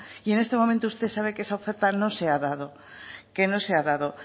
y en este momento usted sabe que esa oferta no se ha dado